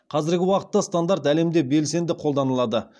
қазіргі уақытта стандарт әлемде белсенді қолданылады